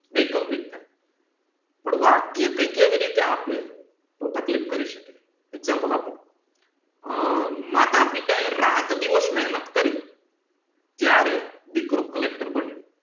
વૈકલ્પિક થાય પણ વાક્ય કયાંક એવિ રીતે આપે તો તકલીફ કરી શકે એક્ષામપ્લે આપું આ માતા પિતા એ રાત દિવસ મહેનત કરી તયારે દીકરો કલેકટર બન્યો